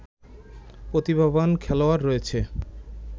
প্রতিভাবান খেলোয়াড় রয়েছে